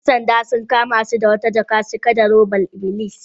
‘Yan sandan sun kama su da wata jaka cike da hodar iblis.